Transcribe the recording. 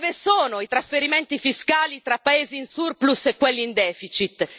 Dove sono i trasferimenti fiscali tra paesi in surplus e quelli in deficit?